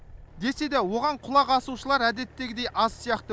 десе де оған құлақ асушылар әдеттегідей аз сияқты